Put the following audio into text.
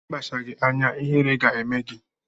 Ị kpachaghị anya, ihere ga-eme gị!